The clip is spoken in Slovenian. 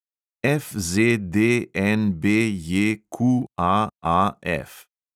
FZDNBJQAAF